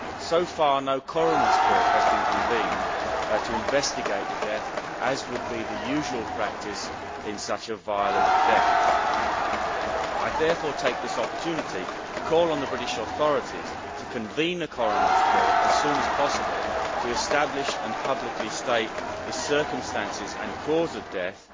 So far, no coroner's court has been convened to investigate the death, as would be the usual practice in the event of such a violent death. I therefore take this opportunity to call on the British authorities to convene a coroner's court as soon as possible to establish and publicly state the circumstances and cause of death